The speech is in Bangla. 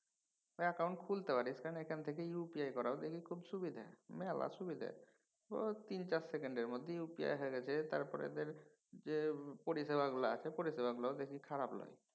অ্যাকাউন্ট খুলতে পারিস কারণ এখান থেকে UPI করাও দেখি খুব সুবিধে। মেলা সুবিধে। ঐ তিন চার সেকেন্ডের মধ্যে UPI হয়ে গেছে তারপর এদের যে পরিষেবাগুলা আছে পারিসেবাগুলাও দেখি খারাপ লয়।